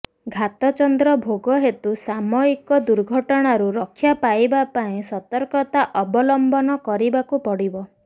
ଘାତଚନ୍ଦ୍ର ଭୋଗ ହେତୁ ସାମୟିକ ଦୁର୍ଘଟଣାରୁ ରକ୍ଷା ପାଇବା ପାଇଁ ସତର୍କତା ଅବଲମ୍ବନ କରିବାକୁ ପଡ଼ିବ